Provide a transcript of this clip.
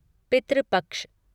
पितृ पक्ष